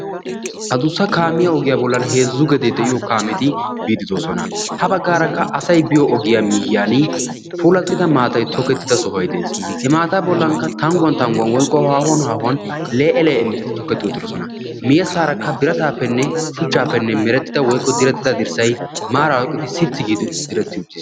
Adussa kaamiyaa ogiyaa bollan heezzu gedee de'iyoogeti biidi de'oosona. ha baggaara asay biyoo ogiyaa miyiyaan puulattidia maatay tokettida sohoy de'ees. he maataa bollankka tangguwaan tangguwaan lee'e lee'e miittati toketti uttidosona. miyeesarakka biratapeenne shuchchaappe direttida dirssay maarara sitti giidi diretti uttiis.